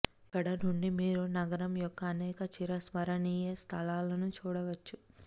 ఇక్కడ నుండి మీరు నగరం యొక్క అనేక చిరస్మరణీయ స్థలాలను చూడవచ్చు